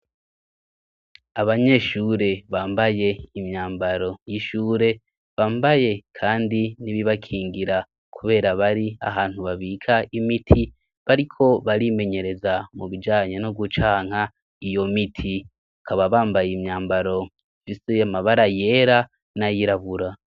Abanyeshure bambaye imyambaro y'ishure bambaye, kandi nibibakingira, kubera bari ahantu babika imiti bariko barimenyereza mu bijanye no gucanka iyo miti kaba bambaye imyambaro jise y'amabara yera n'ayirabura.